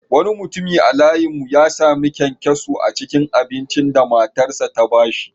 Wani mutum a layin mu ya sami kyankyaso a cikin abincin da matarsa ​​ta ba shi.